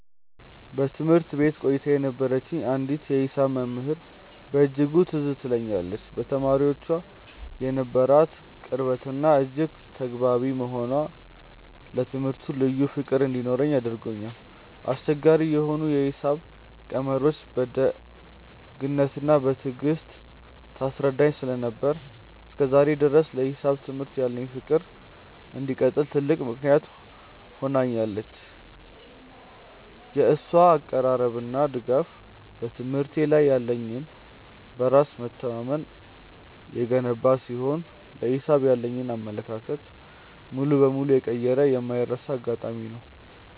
በትምህርት ቤት ቆይታዬ የነበረችኝ አንዲት የሂሳብ መምህር በእጅጉ ትዝ ትለኛለች፤ ለተማሪዎቿ የነበራት ቅርበትና እጅግ ተግባቢ መሆኗ ለትምህርቱ ልዩ ፍቅር እንዲኖረኝ አድርጎኛል። አስቸጋሪ የሆኑ የሂሳብ ቀመሮችን በደግነትና በትዕግስት ታስረዳኝ ስለነበር፣ እስከ ዛሬ ድረስ ለሂሳብ ትምህርት ያለኝ ፍቅር እንዲቀጥል ትልቅ ምክንያት ሆናኛለች። የእሷ አቀራረብና ድጋፍ በትምህርቴ ላይ ያለኝን በራስ መተማመን የገነባ ሲሆን፣ ለሂሳብ ያለኝን አመለካከት ሙሉ በሙሉ የቀየረ የማይረሳ አጋጣሚ ነው።